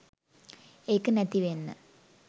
ඒක නැති වෙන්න